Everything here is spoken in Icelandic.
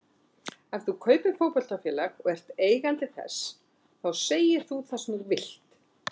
Ef þú kaupir fótboltafélag og ert eigandi þess þá segir þú það sem þú vilt.